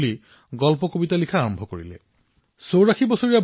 আপুনি আচৰিত হব এই সম্প্ৰদায়ৰ জনসংখ্যা নিচেই তাকৰ মোটামোটি দহ হাজাৰমান হব